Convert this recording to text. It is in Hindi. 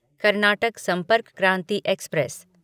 कर्नाटक संपर्क क्रांति एक्सप्रेस